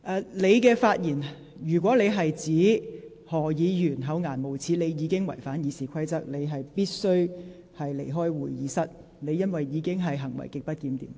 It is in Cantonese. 劉議員，如果你的發言是指何議員厚顏無耻，你已經違反《議事規則》，你必須離開會議廳，因為你的行為已屬極不檢點。